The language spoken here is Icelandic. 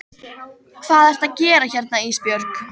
Hvað ertu að gera hérna Ísbjörg?